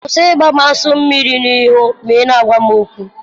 Kwụsị ịgbụ m aso mmiri n'ịhụ mà ị na-agwa m okwu.